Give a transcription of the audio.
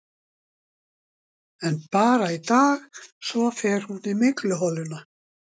En bara í dag, svo fer hún í mygluholuna.